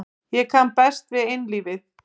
Ég kann best við einlífið.